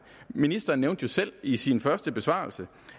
ministeren nævnte jo selv i sin første besvarelse